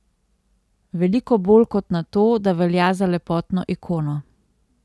Veliko bolj kot na to, da velja za lepotno ikono.